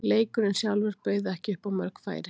Leikurinn sjálfur bauð ekki upp á mörg færi.